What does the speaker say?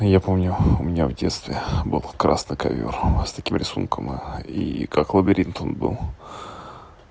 я помню у меня в детстве был красный ковёр с таким рисунком и как лабиринт он был